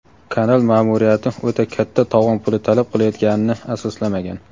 kanal ma’muriyati "o‘ta katta" tovon puli talab qilayotganini asoslamagan.